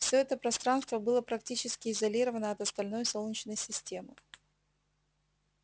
всё это пространство было практически изолировано от остальной солнечной системы